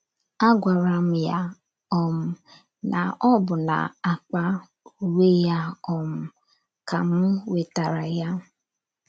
A gwaram ya um na ọ bụ n’akpa uwe ya um ka m wetara ya.